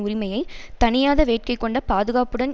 உரிமையை தணியாத வேட்கைகொண்ட பாதுகாப்புடன்